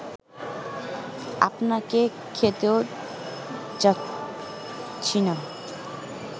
আপনাকে খেতেও যাচ্ছি না